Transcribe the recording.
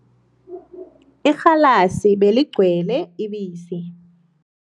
Irhalasi beligcwele ibisi.